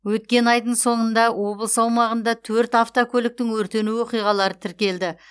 өткен айдың соңғында облыс аумағында төрт автокөліктің өртену оқиғалары тіркелді